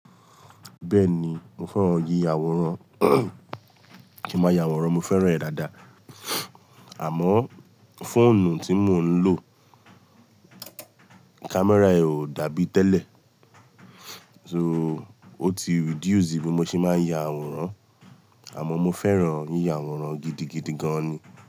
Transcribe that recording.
Bẹ́ẹ̀ni, mo fẹ́ràn yíya àwòrán, kí n máa ya àwòrán, mo fẹ́ràn rẹ̀ dáadáa. Àmọ́ fóònù tí mò ń lò, camera rẹ̀ ò dàbí tẹ́lẹ̀. So ó ti reduce bí mo ṣe máa ń ya àwòrán. Àmọ́ mo fẹ́ràn yíya àwòrán gidigidi gan ni.